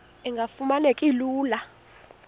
engafuma neki lula